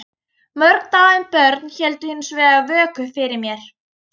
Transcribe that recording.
Mörg dáin börn héldu hins vegar vöku fyrir mér.